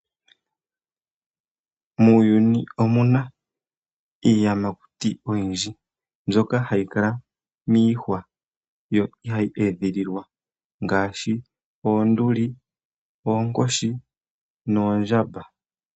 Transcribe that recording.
Muuyuni omuna iiyamakuti oyindji mbyoka hayi kala miihwa yo ihayi edhililwa ngaashi oonduli, oonkoshi noondjamba.